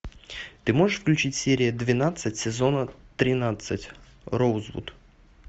ты можешь включить серия двенадцать сезона тринадцать роузвуд